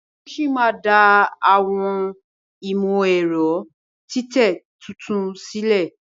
Wón sí má dá Àwọn imọ-ẹrọ titẹ títún sílè.